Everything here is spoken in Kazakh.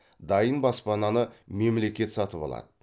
дайын баспананы мемлекет сатып алады